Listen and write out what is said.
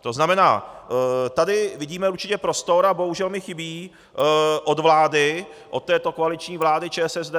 To znamená, tady vidíme určitě prostor a bohužel mi chybí od vlády, od této koaliční vlády ČSSD,